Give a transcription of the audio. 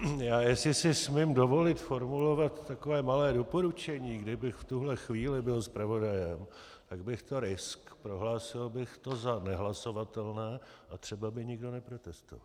Já, jestli si smím dovolit formulovat takové malé doporučení, kdybych v tuhle chvíli byl zpravodajem, tak bych to riskl, prohlásil bych to za nehlasovatelné a třeba by nikdo neprotestoval.